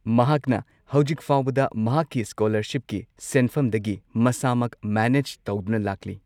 ꯃꯍꯥꯛꯅ ꯍꯧꯖꯤꯛ ꯐꯥꯎꯕꯗ ꯃꯍꯥꯛꯀꯤ ꯁ꯭ꯀꯣꯂꯔꯁꯤꯞꯀꯤ ꯁꯦꯟꯐꯝꯗꯒꯤ ꯃꯁꯥꯃꯛ ꯃꯦꯅꯦꯖ ꯇꯧꯗꯨꯅ ꯂꯥꯛꯂꯤ꯫